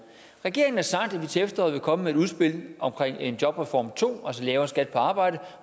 regeringen har sagt at vi til efteråret vil komme med et udspil omkring en jobreform to altså lavere skat på arbejde